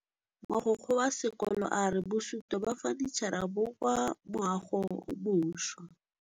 Mogokgo wa sekolo a re bosutô ba fanitšhara bo kwa moagong o mošwa.